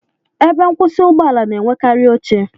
Ebe nkwusi Ụgbọ ala na-enwekarị oche